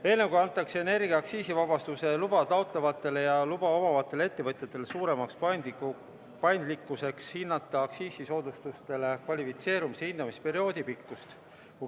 Eelnõuga antakse energia aktsiisivabastuse luba taotlevatele ja luba omavatele ettevõtjatele suurem paindlikkus valida aktsiisisoodustustele kvalifitseerumise hindamisperioodi pikkust.